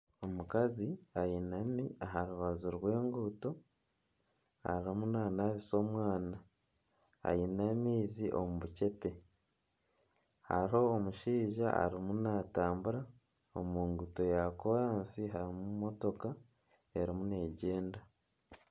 Omukazi ainami aha rubaju rw'enguuto, arimu nanabisa omwana ,aine amaizi omu bucepe hariho omushaija arimu natambura, omu nguuto ya koransi harimu motoka erimu neegyenda.